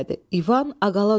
İvan Aqaçnıya.